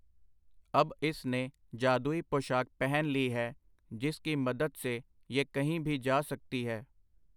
ਅਬ ਇਸ ਨੇ ਜਾਦੂਈ ਪੋਸ਼ਾਕ ਪਹਿਨ ਲੀ ਹੈ, ਜਿਸ ਕੀ ਮਦਦ ਸੇ ਯੇ ਕਹੀਂ ਭੀ ਜਾ ਸਕਤੀ ਹੈ.